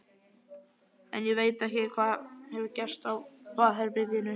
En ég veit ekki hvað hefur gerst á baðherberginu.